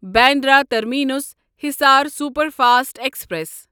Bandra terminus Hisar superfast express